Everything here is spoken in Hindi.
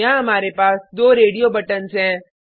यहाँ हमारे पास दो रेडियो बटन्स हैं